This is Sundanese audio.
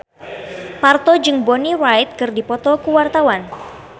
Parto jeung Bonnie Wright keur dipoto ku wartawan